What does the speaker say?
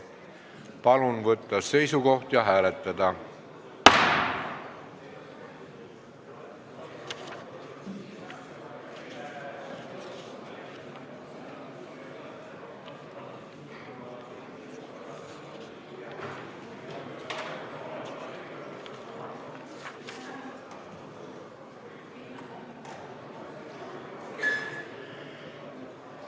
Palun võtta seisukoht ja hääletada!